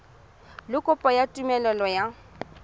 le kopo ya tumelelo ya